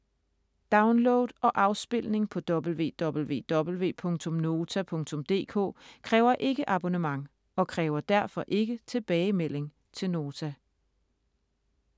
Download og afspilning på www.nota.dk kræver ikke abonnement, og kræver derfor ikke tilbagemelding til Nota.